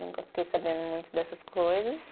Nunca fiquei sabendo muito dessas coisas.